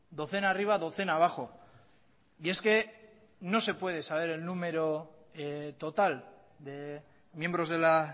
docena arriba docena abajo y es que no se puede saber el número total de miembros de la